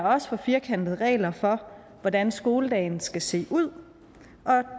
også for firkantede regler for hvordan skoledagen skal se ud og